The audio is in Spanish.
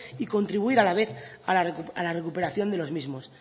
y contribuir a la vez a la recuperación de los mismos